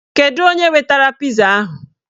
Kedu onye wetara piza ahụ?